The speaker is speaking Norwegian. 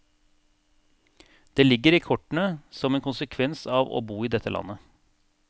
Det ligger i kortene som en konsekvens av å bo i dette landet.